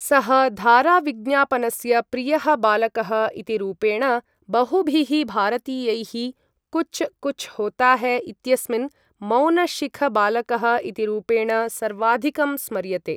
सः धाराविज्ञापनस्य प्रियः बालकः इति रूपेण बहुभिः भारतीयैः कुच कुछ होता है इत्यस्मिन् मौनशिखबालकः इति रूपेण सर्वाधिकं स्मर्यते।